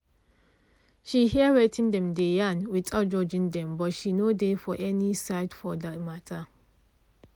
she hear wetin dem dey yarn without judging dem but she no dey for any side for the matter